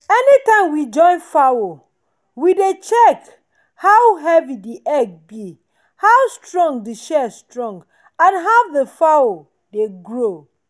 anytime we join fowl we dey check how heavy the egg be how strong the shell strong and how the fowl dey grow.